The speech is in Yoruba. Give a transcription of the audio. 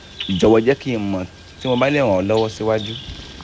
jọwọ jẹ ki n mọ ti mo ba le ran ọ lọwọ siwaju